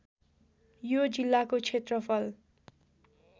यो जिल्लाको क्षेत्रफल